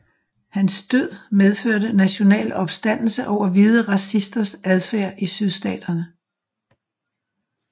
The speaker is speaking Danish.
Hans død medførte national opstandelse over hvide racisters adfærd i sydstaterne